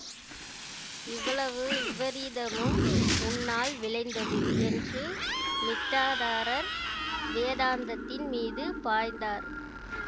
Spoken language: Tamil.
இவ்வளவு விபரீதமும் உன்னால் விளைந்தது என்று மிட்டாதாரர் வேதாந்தத்தின் மீது பாய்ந்தார்